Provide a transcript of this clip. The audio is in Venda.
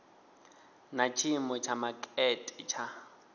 na tshiimo tsha makete tsha